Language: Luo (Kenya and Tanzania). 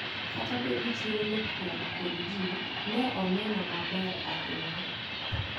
Kata obedo ni chiro nopong` kod jii, ne oneno maber ahinya.